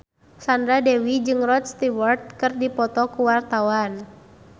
Sandra Dewi jeung Rod Stewart keur dipoto ku wartawan